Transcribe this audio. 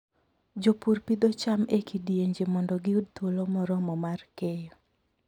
Jopur pidho cham e kidienje mondo giyud thuolo moromo mar keyo.